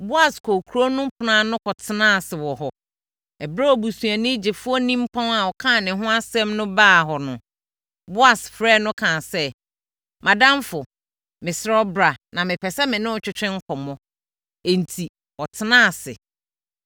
Boas kɔɔ kuro no ɛpono ano kɔtenaa ase wɔ hɔ. Ɛberɛ a obusuani gyefoɔ nimpɔn a ɔkaa ne ho asɛm no baa hɔ no, Boas frɛɛ no kaa sɛ, “Mʼadamfo, mesrɛ wo bra na mepɛ sɛ me ne wo twetwe nkɔmmɔ.” Enti, wɔtenaa ase.